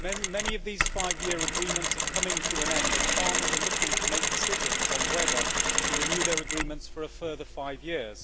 Many of these five year agreements are coming to an end and farmers are looking to make decisions on whether to renew their agreements for a further five years.